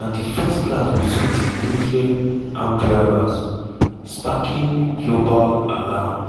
na di first clash betwin di nuclear-armed rivals sparking global alarm.